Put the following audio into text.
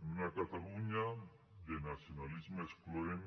en una catalunya de nacionalisme excloent